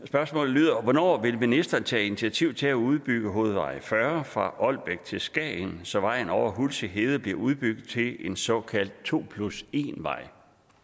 spørgsmålet lyder hvornår vil ministeren tage initiativ til at udbygge hovedvej fyrre fra ålbæk til skagen så vejen over hulsig hede bliver udbygget til en såkaldt to plus en vej